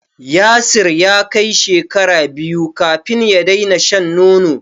Yasir ya kai shekara biyu kafin ya daina shan nono.